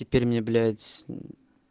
теперь мне блять